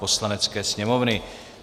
Poslanecké sněmovny